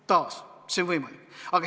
Taas, see on võimalik.